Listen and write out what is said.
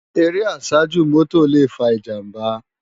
Éré àsájú mòtó lé fá ijàmbá